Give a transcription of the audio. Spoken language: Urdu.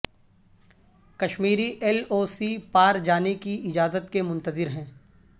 کشمیری ایل او سی پار جانے کی اجازت کے منتظر ہیں